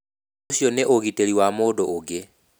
Ũcio nĩ ũgitĩri wa mũndũ ũngĩ.